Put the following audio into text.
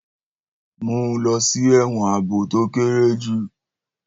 Mú un lọ sí ẹ̀wọ̀n ààbò tó kéré jù.